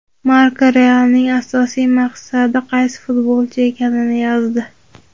Marca "Real"ning asosiy maqsadi qaysi futbolchi ekanini yozdi.